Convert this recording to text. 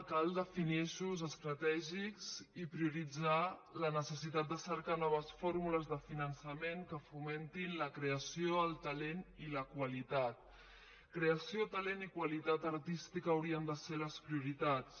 cal definir eixos estratègics i prioritzar la necessitat de cercar noves formules de finançament que fomentin la creació el talent i la qualitat creació talent i qualitat artística haurien de ser les prioritats